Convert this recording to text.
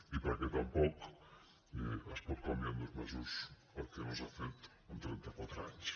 i perquè tampoc es pot canviar en dos mesos el que no s’ha fet en trenta quatre anys